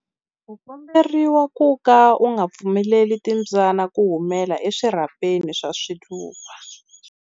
U komberiwa ku ka u nga pfumeleli timbyana ku humela eswirhapeni swa swiluva.